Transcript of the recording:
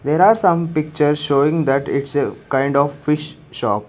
there are some pictures showing that it's a kind of fish shop.